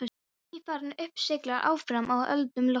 Nýfarinn upp siglir áfram á öldum loftsins.